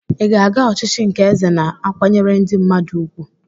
Ị ga-aga ochichi nke eze na-akwanyere ndi mmadu ùgwù?